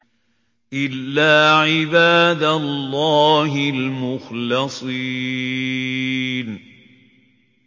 إِلَّا عِبَادَ اللَّهِ الْمُخْلَصِينَ